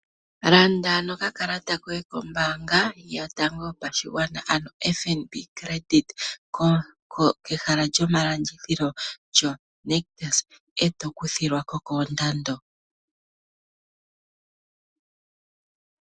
Landa nokakalata koye kombaanga yotango yopashigwana ano oFNB credit kehala lyomalandithilo lyoNictus, eto kuthi lwa ko koondando.